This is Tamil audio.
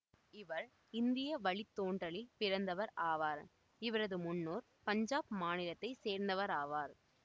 இவர் இந்திய வழித்தோன்றலில் பிறந்தவர் ஆவார் இவரது முன்னோர் பஞ்சாப் மாநிலத்தை சேரந்தவராவர்